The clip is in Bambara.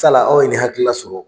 la aw ye nin hakili la